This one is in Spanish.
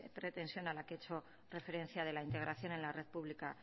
pretensión a la que he hecho referencia de la integración en la red pública